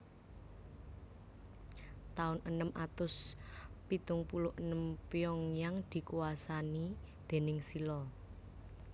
Taun enem atus pitung puluh enem Pyongyang dikuwasani déning Silla